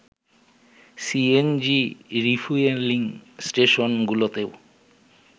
CNG refuelling স্টেশনগুলোতেও